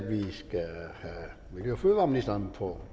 vi miljø og fødevareministeren på